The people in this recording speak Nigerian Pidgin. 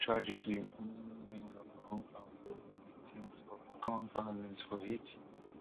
e add say tragically many many of our own families na victims of gun violence for haiti